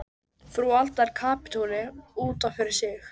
Frú Alda er kapítuli út af fyrir sig.